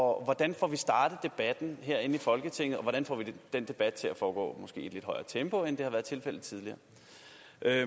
hvordan får vi startet debatten her i folketinget og hvordan får vi den debat til at foregå i måske lidt højere tempo end det har været tilfældet tidligere